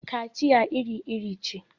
kaciya iri-iri ce